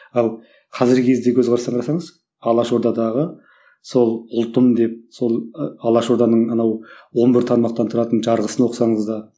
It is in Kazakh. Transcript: ал қазіргі кездегі көзқарасты қарасаңыз алаш ордадағы сол ұлтым деп сол ы алаш орданың анау он бір тармақтан тұратын жарғысын оқысаңыз да